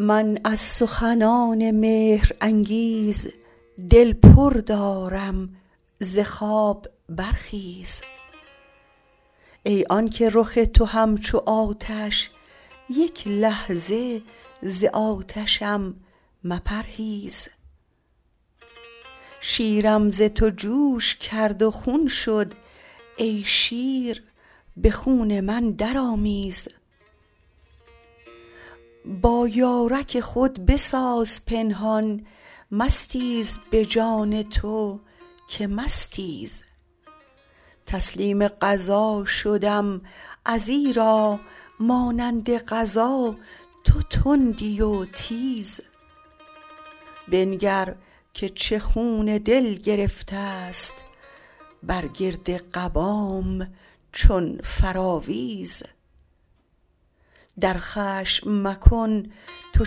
من از سخنان مهرانگیز دل پر دارم ز خواب برخیز ای آنک رخ تو همچو آتش یک لحظه ز آتشم مپرهیز شیرم ز تو جوش کرد و خون شد ای شیر به خون من درآمیز با یارک خود بساز پنهان مستیز به جان تو که مستیز تسلیم قضا شدم ازیرا مانند قضا تو تندی و تیز بنگر که چه خون دل گرفتست بر گرد قبام چون فراویز در خشم مکن تو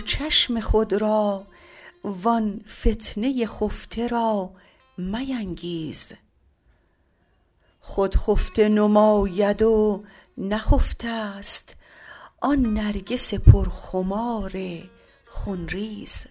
چشم خود را وان فتنه خفته را مینگیز خود خفته نماید و نخفتست آن نرگس پرخمار خون ریز